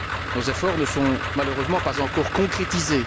Nos efforts ne se sont malheureusement pas encore concrétisés.